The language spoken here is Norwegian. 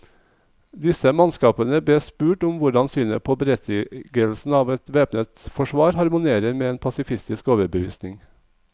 Disse mannskapene bes spurt om hvordan synet på berettigelsen av et væpnet forsvar harmonerer med en pasifistisk overbevisning.